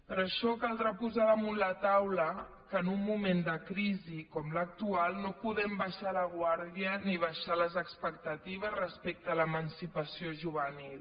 per això caldrà posar damunt la taula que en un moment de crisi com l’actual no podem abaixar la guàrdia ni abaixar les expectatives respecte a l’emancipació juvenil